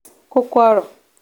kókó ọ̀rọ̀